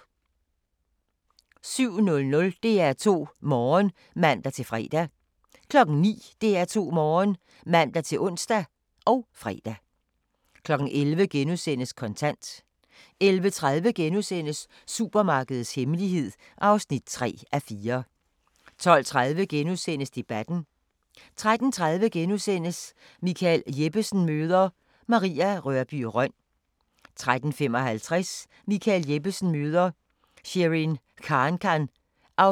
07:00: DR2 Morgen (man-fre) 09:00: DR2 Morgen (man-ons og fre) 11:00: Kontant * 11:30: Supermarkedets hemmelighed (3:4)* 12:30: Debatten * 13:30: Michael Jeppesen møder ... Maria Rørbye Rønn * 13:55: Michael Jeppesen møder ... Sherin Khankan (6:12)